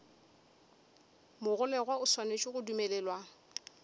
mogolegwa o swanetše go dumelelwa